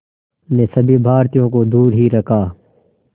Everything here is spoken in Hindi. ने सभी भारतीयों को दूर ही रखा